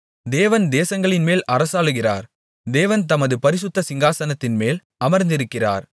தேவன் தேசங்களின்மேல் அரசாளுகிறார் தேவன் தமது பரிசுத்த சிங்காசனத்தின்மேல் அமர்ந்திருக்கிறார்